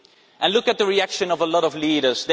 And look at the reaction of a lot of leaders.